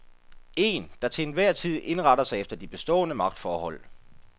En, der til enhver tid indretter sig efter de bestående magtforhold.